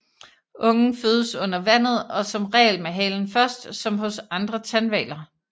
Ungen fødes under vandet og som regel med halen først som hos andre tandhvaler